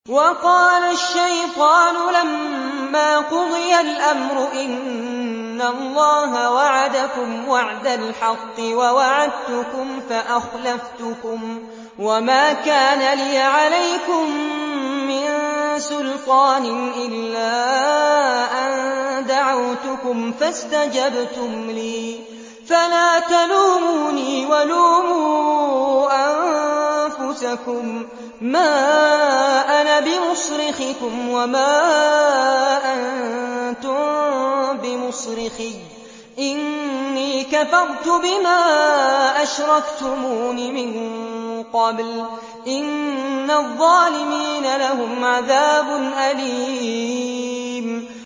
وَقَالَ الشَّيْطَانُ لَمَّا قُضِيَ الْأَمْرُ إِنَّ اللَّهَ وَعَدَكُمْ وَعْدَ الْحَقِّ وَوَعَدتُّكُمْ فَأَخْلَفْتُكُمْ ۖ وَمَا كَانَ لِيَ عَلَيْكُم مِّن سُلْطَانٍ إِلَّا أَن دَعَوْتُكُمْ فَاسْتَجَبْتُمْ لِي ۖ فَلَا تَلُومُونِي وَلُومُوا أَنفُسَكُم ۖ مَّا أَنَا بِمُصْرِخِكُمْ وَمَا أَنتُم بِمُصْرِخِيَّ ۖ إِنِّي كَفَرْتُ بِمَا أَشْرَكْتُمُونِ مِن قَبْلُ ۗ إِنَّ الظَّالِمِينَ لَهُمْ عَذَابٌ أَلِيمٌ